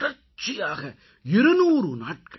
தொடர்ச்சியாக 200 நாட்கள்